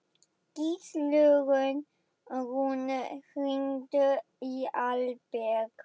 Gíslrún, hringdu í Alberg.